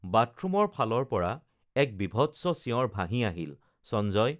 বাথৰুমৰ ফালৰপৰা এক বিভৎস চিঁঞৰ ভাঁহি আহিল সঞ্জয়